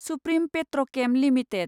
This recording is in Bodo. supreme Petrochem limited